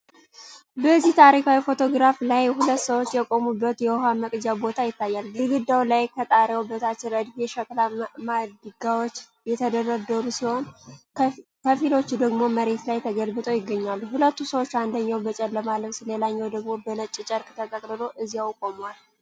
በዚህ ታሪካዊ ፎቶግራፍ ላይ ሁለት ሰዎች የቆሙበት የውኃ መቅጃ ቦታ ይታያል። ግድግዳው ላይ ከጣሪያው በታች ረድፍ የሸክላ ማድጋዎች የተደረደሩ ሲሆን፤ ከፊሎቹ ደግሞ መሬት ላይ ተገልብጠው ይገኛሉ። ሁለቱ ሰዎች አንደኛው በጨለማ ልብስ ሌላኛው ደግሞ በነጭ ጨርቅ ተጠቅልሎ እዚያው ቆመዋል።